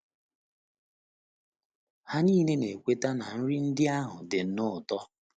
Ha nile na - ekweta na nri ndị ahụ dị nnọọ ụtọ!